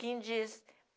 Quem diz?